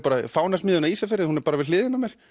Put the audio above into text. Fánasmiðjuna á Ísafirði hún er við hliðina á mér